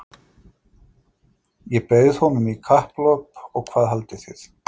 Ég bauð honum í kapphlaup og hvað haldið þið?